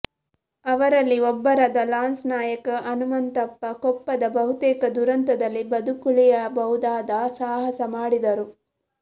ಅವರಲ್ಲಿ ಒಬ್ಬರಾದ ಲಾನ್ಸ್ ನಾಯಕ್ ಹನಮಂತಪ್ಪ ಕೊಪ್ಪದ ಬಹುತೇಕ ದುರಂತದಲ್ಲಿ ಬದುಕುಳಿಯಬಹುದಾದ ಸಾಹಸ ಮಾಡಿದರು